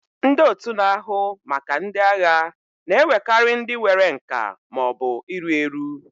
Ndị otu na-ahụ maka ndị agha na-ewekarị ndị nwere nka ma ọ bụ iru eru.